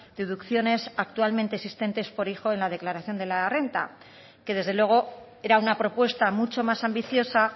deducciones actualmente existentes por hijo en la declaración de la renta que desde luego era una propuesta mucho más ambiciosa